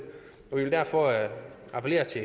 vil derfor appellere til